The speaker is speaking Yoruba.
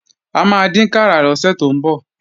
A máa dínkàrà lọ́sẹ̀ tó ń bọ̀